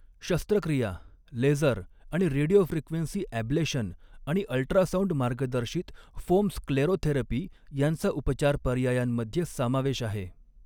शस्त्रक्रिया, लेसर आणि radiofrequency ablation आणि अल्ट्रासाऊंड मार्गदर्शित फोम स्क्लेरोथेरपी यांचा उपचार पर्यायांमध्ये समावेश आहे.